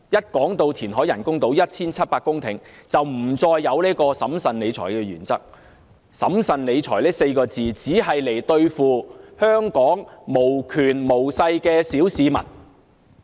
當提到填海 1,700 公頃興建人工島時，政府便不再堅持審慎理財的原則，"審慎理財"這4個字，只是用來對付香港無權無勢的小市民。